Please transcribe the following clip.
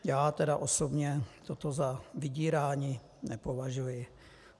Já tedy osobně toto za vydírání nepovažuji.